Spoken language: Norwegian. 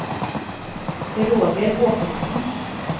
Roger Håkonsen